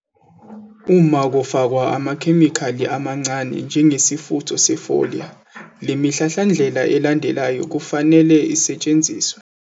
Uma kufakwa amakhemikhali amancane njengesifutho se-foliar le mihlahlandlela elandelayo kufanele isetshenziswe.